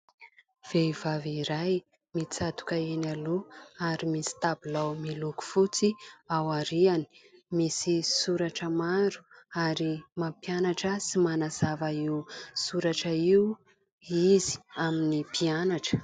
Vehivavy iray mitsatoka eny aloha ary misy tabilao miloko fotsy ao aoriany. Misy soratra maro, ary mampianatra sy manazava io soratra io izy amin'ny mpianatra.